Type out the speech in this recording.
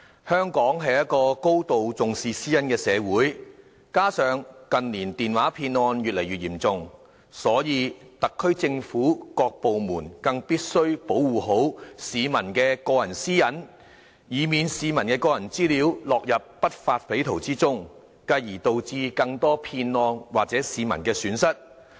香港是一個高度重視私隱的社會，加上近年電話騙案越來越嚴重，所以特區政府各部門更必須保護好市民的個人私隱，以免市民的個人資料落入不法匪徒手中，繼而導致更多騙案或市民的損失。